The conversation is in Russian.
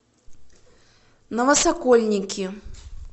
новосокольники